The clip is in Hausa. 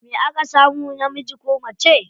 Me aka samu, namiji ko mace?